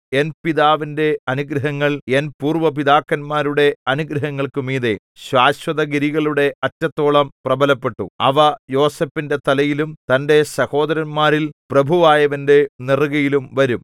N പിതാവിന്റെ അനുഗ്രഹങ്ങൾ എൻ പൂര്‍വ്വ പിതാക്കന്മാരുടെ അനുഗ്രഹങ്ങൾക്കു മീതെ ശാശ്വതഗിരികളുടെ അറ്റത്തോളം പ്രബലപ്പെട്ടു അവ യോസേഫിന്റെ തലയിലും തന്റെ സഹോദരന്മാരിൽ പ്രഭുവായവന്റെ നെറുകയിലും വരും